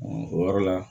o yɔrɔ la